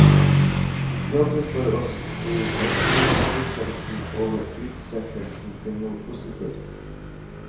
Jobben for oss blir å snu skuffelsen over utsettelsen til noe positivt.